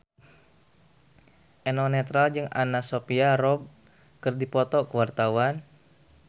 Eno Netral jeung Anna Sophia Robb keur dipoto ku wartawan